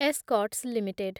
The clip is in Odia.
ଏସ୍କର୍ଟସ ଲିମିଟେଡ୍